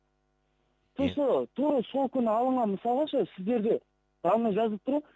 просто тура сол күні алынған мысалы ше сіздерде данный жазылып па